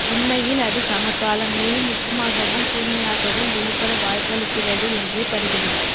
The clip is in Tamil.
உண்மையில் அது சமகாலம் மேலும் நுட்பமாகவும் கூர்மையாகவும் வெளிப்பட வாய்ப்பளிக்கிறது என்றே படுகிறது